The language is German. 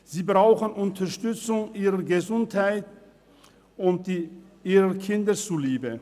Diese Frauen brauchen Unterstützung, ihrer Gesundheit und ihren Kindern zuliebe.